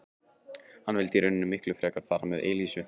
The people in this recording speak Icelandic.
Hann vildi í rauninni miklu frekar fara með Elísu.